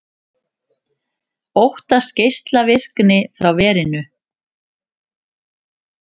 Óttast geislavirkni frá verinu